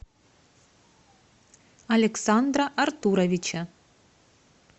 александра артуровича